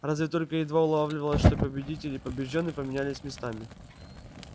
разве только едва улавливалось что победитель и побеждённый поменялись местами